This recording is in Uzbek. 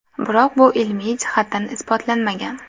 Biroq bu ilmiy jihatdan isbotlanmagan.